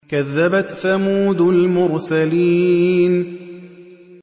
كَذَّبَتْ ثَمُودُ الْمُرْسَلِينَ